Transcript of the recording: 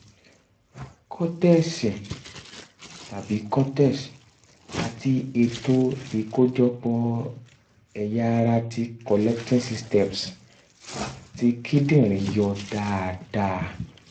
kọ́tẹ̀sì tabi cortex àti ètò ìkójọ pò ẹ̀yà ara ti collecting systems ti kíndìnrín yọ dáadáa